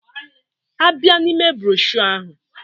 A bịa n'ime broshuọ ahụ